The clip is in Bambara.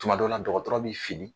Tuma dɔ la dɔgɔtɔrɔ bi fini